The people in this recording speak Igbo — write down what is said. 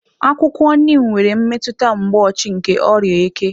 Akwụkwọ Niim nwere mmetụta mgboochi nke oria eke.